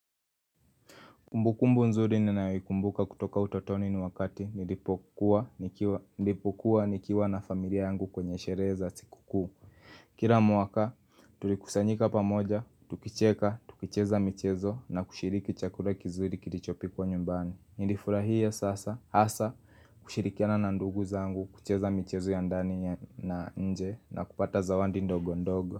Kumbukumbu nzuri ninayoikumbuka kutoka utotoni ni wakati nilipokuwa nikiwa na familia yangu kwenye sherehe za siku kuu Kira mwaka tulikusanyika pamoja, tukicheka, tukicheza michezo na kushiriki chakura kizuri kilichopi kwa nyumbani Nilifurahie sasa, hasa, kushirikiana na ndugu zaangu, kucheza michezo ya ndani na nje na kupata zawandi ndogo ndogo.